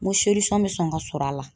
N ko bɛ sɔn ka sɔrɔ a la